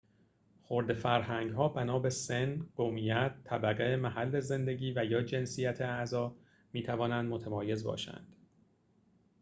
خرده فرهنگ‌ها بنا به سن، قومیت، طبقه، محل زندگی و/یا جنسیت اعضا می‌توانند متمایز باشند